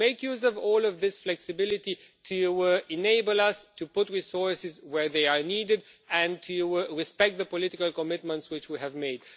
to make use of all of this flexibility to enable us to put resources where they are needed and to respect the political commitments which we have made.